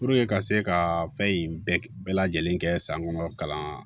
ka se ka fɛn in bɛɛ lajɛlen kɛ san kɔnɔ kalan